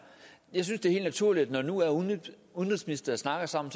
jeg synes det er helt naturligt at når nu udenrigsministre snakker sammen